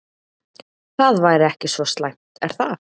Það væri ekki svo slæmt er það?